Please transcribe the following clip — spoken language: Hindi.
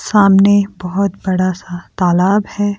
सामने बहुत बड़ा सा तालाब है।